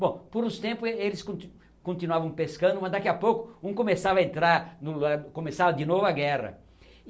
Bom, por uns tempos ele eles conti continuavam pescando, mas daqui a pouco um começava a entrar no, começava de novo a guerra.